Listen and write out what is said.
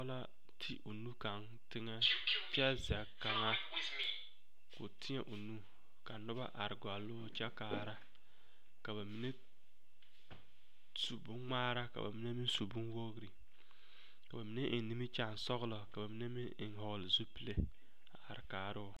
Pɔɡe la te o nu kaŋ teŋɛ kyɛ zɛle kaŋa o tēɛ o nu ka noba areɡɔle o kyɛ kaara ka ba mine su bonŋmaara ka ba mine meŋ su bonwoori ka ba mine eŋ nimikyaansɔɡelɔ ka ba mine meŋ hɔɔle zupile a are kaara o.